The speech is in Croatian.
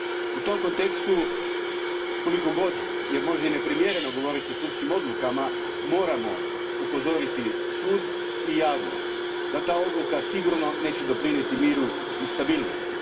U tom kontekstu koliko god je možda i neprimjereno govoriti o sudskim odlukama, moramo upozoriti sud i javnost da ta odluka sigurno neće doprinijeti miru i stabilnosti.